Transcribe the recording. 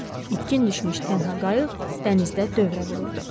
Bitkin düşmüş tənha qayıq dənizdə dövrə vururdu.